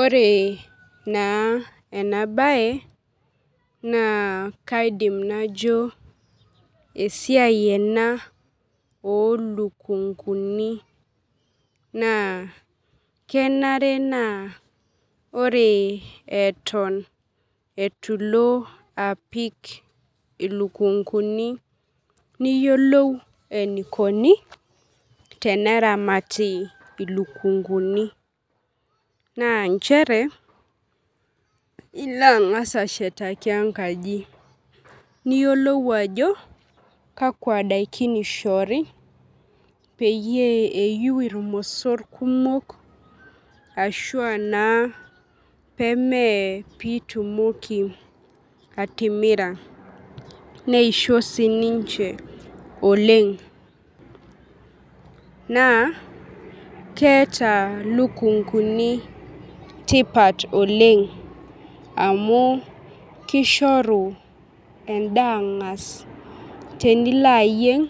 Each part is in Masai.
Ore na enabae na kaidim najo esiai ena olukunguni na kenare na ore eeton itu ilo apik ilukunguni niyiolou enikuni teneramati ilukunguni ilo angas anshetakii enkaji niyiolou ajo kakwa dakin ishori peyie eiu irmosor kumok qshu pemeyi pitumoki wtimira neisho ninche oleng na keeta lukunguni tipat oleng amu kishoru endaa angas amu tenilo ayieng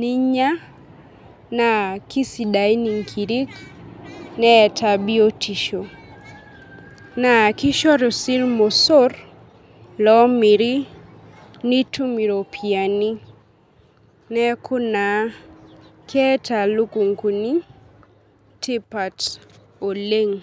ninya na kisidain nkirik neeta biotisho na kishoru si irmosor omiri nitum iropiyani neaku keeta lukunguni tipat oleng.